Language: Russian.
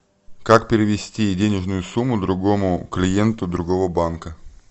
как перевести денежную сумму другому клиенту другого банка